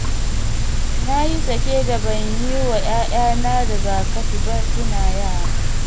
Na yi sake da ban yi wa 'ya'yana rigakafi ba suna yara